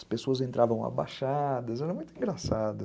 As pessoas entravam abaixadas, era muito engraçado.